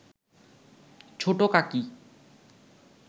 ছোটো কাকি